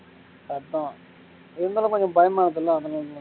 அதான் இருந்தாலும் கொஞ்சம் பயமா இருக்குல்ல அதனாலதான்